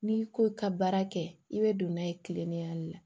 N'i ko i ka baara kɛ i bɛ don n'a ye tilema de la